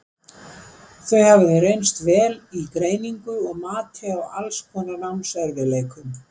Þau hafa því reynst vel í greiningu og mati á alls konar námserfiðleikum.